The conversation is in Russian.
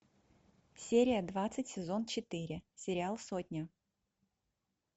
серия двадцать сезон четыре сериал сотня